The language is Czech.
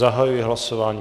Zahajuji hlasování.